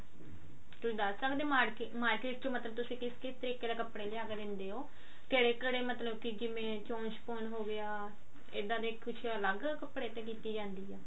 ਤੁਸੀਂ ਦੱਸ ਸਕਦੇ ਹੋ market ਚੋਂ ਤੁਸੀਂ ਕਿਸ ਕਿਸ ਤਰੀਕੇ ਦਾ ਕੱਪੜਾ ਲਿਆ ਕਿ ਦਿੰਦੇ ਹੋ ਕਿਹੜੇ ਕਿਹੜੇ ਮਤਲਬ ਕੀ ਕਿਵੇਂ ਹੋਗਿਆ ਇੱਦਾਂ ਦੇ ਕੁਛ ਅਲੱਗ ਕੱਪੜੇ ਤੇ ਕੀਤੀ ਜਾਂਦੀ ਆ